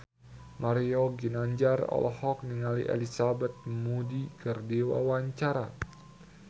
Mario Ginanjar olohok ningali Elizabeth Moody keur diwawancara